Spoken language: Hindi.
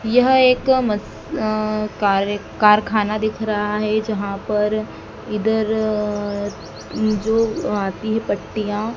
यह एक मस अह कार कारखाना दिख रहा है जहाँ पर इधर अह जो आती है पत्तियां--